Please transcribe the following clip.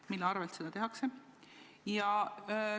Mille arvel seda tehakse?